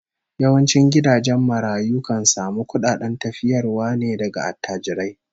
Yawancin gidajen marayu kan samu kudaden tafiyarwa ne daga attajirai